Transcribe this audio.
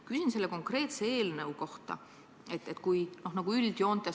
Küsin konkreetselt selle eelnõu kohta.